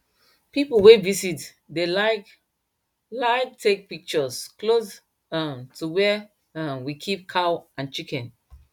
people wey visit dey like like take pictures close um to where um we keep cow and chicken